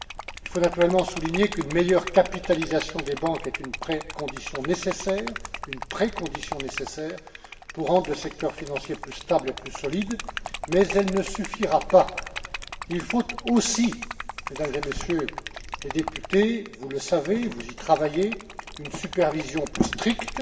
Il faut naturellement souligner qu'une meilleure capitalisation des banques est une précondition nécessaire pour rendre le secteur financier plus stable et plus solide, mais elle ne suffira pas. Il faut aussi, Mesdames et Messieurs les députés vous le savez, vous y travaillez une supervision plus stricte,